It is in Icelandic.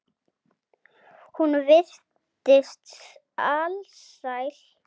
Hún virtist alsæl.